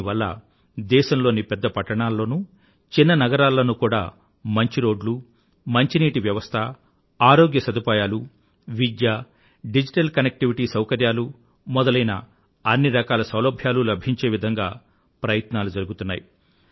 దీని వల్ల దేశంలోని పెద్ద పట్టణాలలోనూ చిన్న నగరాలలోనూ కూడా మంచి రోడ్లు మంచినీటి వ్యవస్థ ఆరోగ్య సదుపాయాలు విద్య డిజిటల్ కనెక్టివిటీ సౌకర్యాలు మొదలైన అన్ని రకాల సౌలభ్యాలూ లభించే విధంగా ప్రయత్నాలు జరుగుతున్నాయి